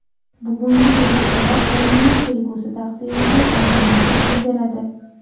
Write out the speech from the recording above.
Bugungi bellashuvlar termaning kelgusi taqdiriga oydinlik kiritib beradi.